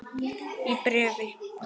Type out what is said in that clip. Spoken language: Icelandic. Í bréfi